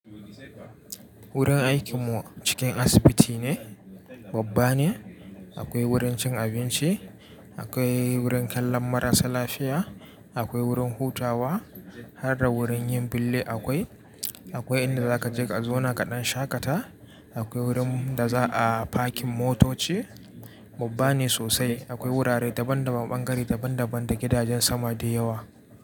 Wurin aikin mu cikin asibiti ne, babba ne. Akwai wurin cin abinci, akwai wurin kallon marasa lafiya, akwai wurin hutawa har da wurin yin bille akwai. Akwai inda za ka je ka zauna kaɗan shakata, akwai wurin da za a parking motoci. Babba ne sosai, akwai wurare daban daban, ɓangare daban daban da gidajen sama da yawa.